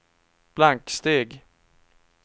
blanksteg